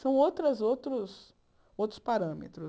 São outras outros outros parâmetros.